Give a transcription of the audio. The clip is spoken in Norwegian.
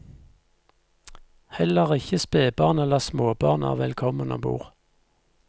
Heller ikke spebarn eller småbarn er velkommen om bord.